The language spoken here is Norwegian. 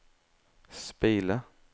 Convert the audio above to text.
speile